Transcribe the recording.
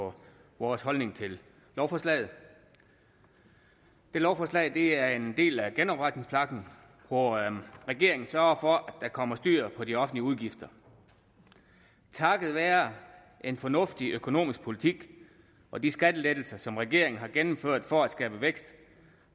for vores holdning til lovforslaget lovforslaget er en del af genopretningspakken hvor regeringen sørger for at der kommer styr på de offentlige udgifter takket være en fornuftig økonomisk politik og de skattelettelser som regeringen har gennemført for at skabe vækst